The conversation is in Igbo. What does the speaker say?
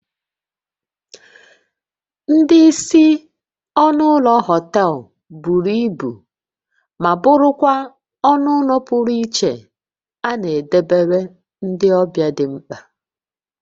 Ndị isi ọnụ ụlọ họtel buru ibu ma bụrụkwa ọnụ ụlọ pụrụ iche a na edobere ndị ọbịa dị mkpa